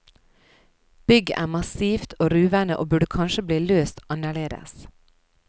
Bygget er massivt og ruvende og burde kanskje blitt løst annerledes.